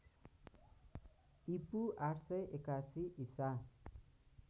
ईपू ८८१ ईसा